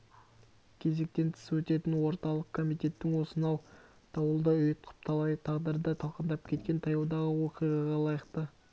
кезектен тыс өтетін орталық комитеттің осынау дауылдай ұйтқып талай тағдырды талқандап кеткен таяудағы оқиғаға лайықты